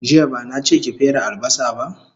Jiya bana che ki fere albasa ba